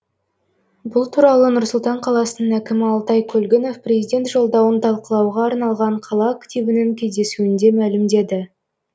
бұл туралы нұр сұлтан қаласының әкімі алтай көлгінов президент жолдауын талқылауға арналған қала активінің кездесуінде мәлімдеді